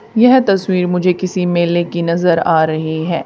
यह तस्वीर मुझे किसी मेले की नजर आ रही है।